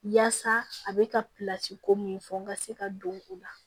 Yaasa a bɛ ka ko mun fɔ n ka se ka don o la